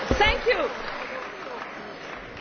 Je vous propose un amendement oral.